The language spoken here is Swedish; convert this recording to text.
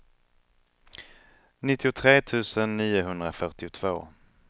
nittiotre tusen niohundrafyrtiotvå